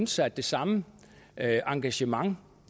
sig at det samme engagement